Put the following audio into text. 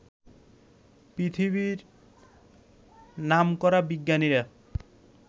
পৃথিবীর নামকরা বিজ্ঞানীরা